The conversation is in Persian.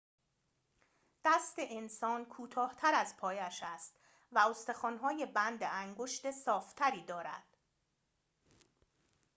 دست انسان کوتاه‌تر از پایش است و استخوان‌های بند انگشت صاف‌تری دارد